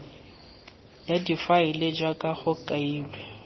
ya difaele jaaka go kailwe